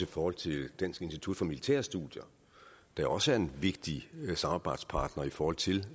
forhold til dansk institut for militære studier der også er en vigtig samarbejdspartner i forhold til